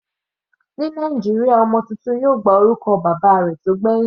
Ní Nàìjíríà ọmọ tuntun yóò gba orúkọ bàbá rẹ̀ tó gbẹ̀hìn.